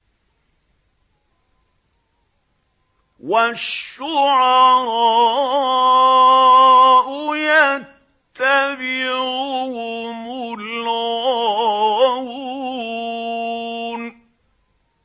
وَالشُّعَرَاءُ يَتَّبِعُهُمُ الْغَاوُونَ